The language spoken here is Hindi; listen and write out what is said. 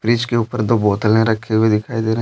फ्रिज के ऊपर दो बोतलें रखी हुई दिखाई दे रहे हैं।